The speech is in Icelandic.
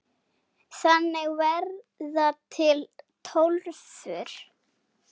Þannig verða til Tólfur.